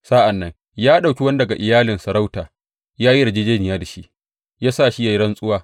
Sa’an nan ya ɗauki wani daga iyalin sarauta ya yi yarjejjeniya da shi, ya sa shi ya yi rantsuwa.